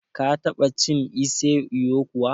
Ka ta ba cin ise ewu kuwa?